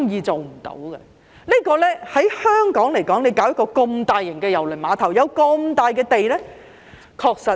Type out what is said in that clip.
在香港興建一個這麼大型的郵輪碼頭，有這麼大幅土地......